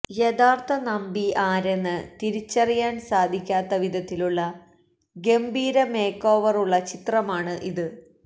യഥാര്ത്ഥ നമ്പി ആരെന്ന് തിരിച്ചറിയാന് സാധിക്കാത്ത വിധത്തിലുള്ള ഗംഭീര മേക്കോവറുള്ള ചിത്രമാണ് ഇത്